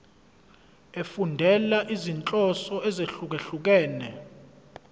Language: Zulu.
efundela izinhloso ezahlukehlukene